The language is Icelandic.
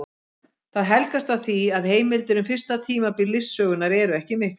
Það helgast af því að heimildir um fyrsta tímabil listasögunnar eru ekki miklar.